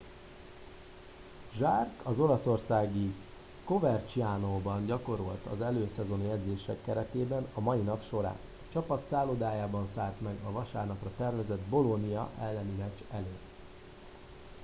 jarque az olaszországi covercianóban gyakorolt az előszezoni edzések keretében a mai nap során a csapat szállodájában szállt meg a vasárnapra tervezett bolonia elleni meccs előtt